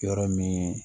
Yɔrɔ min